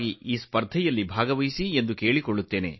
ಈ ಸ್ಪರ್ಧೆಯಲ್ಲಿ ನೀವೆಲ್ಲರೂ ಭಾಗವಹಿಸಬೇಕೆಂದು ನಾನು ಮನವಿ ಮಾಡುತ್ತೇನೆ